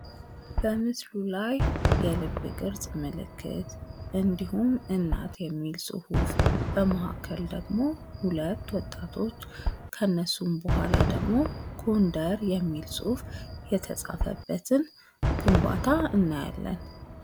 በምስሉ ላይ የልብ ቅርስ ምልክት እንድሁም እናት የሚል ጽሑፍ በመካከል ደግሞ ሁለት ወጣቶች ከነሱም በኋላ ደግሞ ጎንደር የሚል ጽሑፍ የተጻፈበትን ግንባታ እናያለን።